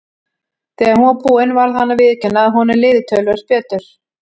Þegar hún var búin varð hann að viðurkenna að honum liði töluvert betur.